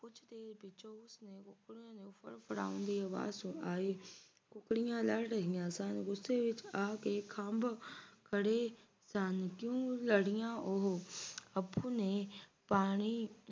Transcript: ਫੜਨ ਦੀ ਆਵਾਜ਼ ਆਈ ਕੁੱਕੜੀਆਂ ਲੜ ਰਹੀਆਂ ਸਨ ਗੁੱਸੇ ਵਿਚ ਆ ਕੇ ਖੰਭ ਖੜ੍ਹੇ ਸਨ ਕਿਉਂ ਲੜੀਆਂ ਉਹ ਅਪੁ ਨੇ ਪਾਣੀ